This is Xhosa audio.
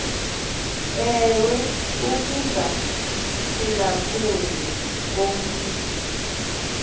ewe ukungaphulaphuli komatu